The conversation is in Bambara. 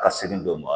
Ka seli dɔ ma